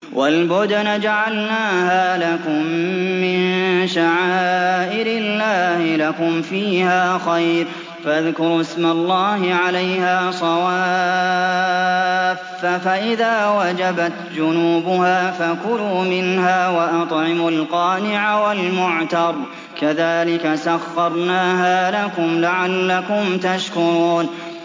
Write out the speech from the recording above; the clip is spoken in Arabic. وَالْبُدْنَ جَعَلْنَاهَا لَكُم مِّن شَعَائِرِ اللَّهِ لَكُمْ فِيهَا خَيْرٌ ۖ فَاذْكُرُوا اسْمَ اللَّهِ عَلَيْهَا صَوَافَّ ۖ فَإِذَا وَجَبَتْ جُنُوبُهَا فَكُلُوا مِنْهَا وَأَطْعِمُوا الْقَانِعَ وَالْمُعْتَرَّ ۚ كَذَٰلِكَ سَخَّرْنَاهَا لَكُمْ لَعَلَّكُمْ تَشْكُرُونَ